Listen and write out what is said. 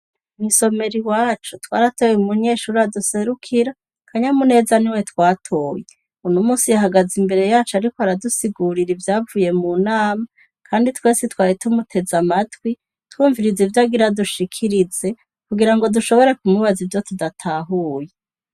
Mw'isomero iwacu twaratoye umunyeshure aduserukira, Kanyamuneza niwe twatoye. Uno munsi yahagaze imbere yacu ariko aradusigurira ivyavuye munama, kandi twese twari tumuteze amatwi, twumviriza ivyo agira adushikirize, kugira ngo dushobore kumubaza ivyo tudatahuye.